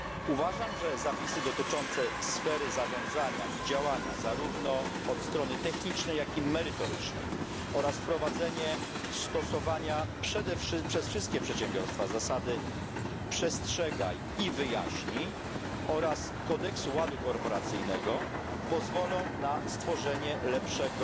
Uważam, że zapisy dotyczące sfery zarządzania i działania zarówno od strony technicznej, jak i merytorycznej oraz wprowadzenie stosowania przez wszystkie przedsiębiorstwa zasady przestrzegaj i wyjaśnij oraz kodeksu ładu korporacyjnego pozwolą na stworzenie lepszego,